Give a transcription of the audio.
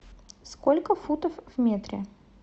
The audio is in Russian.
сколько футов в метре